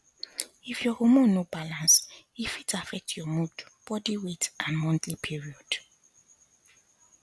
if your hormone no balance e fit affect your mood body weight and monthly period